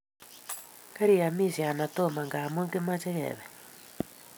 Keriyamishe ana tomo ngamun kimahe kebe